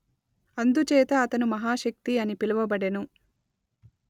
అందుచేత అతను మహాశక్తి అని పిలువబడెను